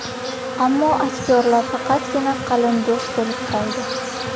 Ammo aktyorlar faqatgina qalin do‘st bo‘lib qoldi.